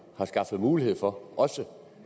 har skaffet mulighed for også